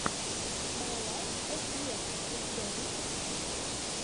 май лайф эс ева у тебя есть